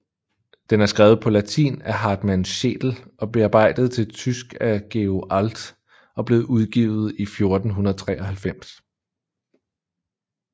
Den er skrevet på latin af Hartmann Schedel og bearbejdet til tysk af Georg Alt og blev udgivet i 1493